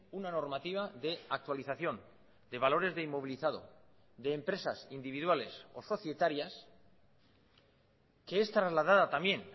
una normativa de actualización de valores de inmovilizado de empresas individuales o societarias que es trasladada también